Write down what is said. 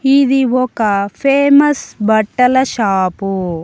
ఇది ఒక ఫేమస్ బట్టల షాపు .